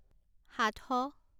সাতশ